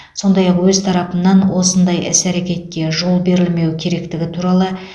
сондай ақ өз тарапымнан осындай іс әрекетке жол берілмеуі керектігі туралы